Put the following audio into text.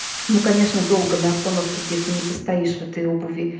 ну конечно долго на остановке где-то не постоишь в этой обуви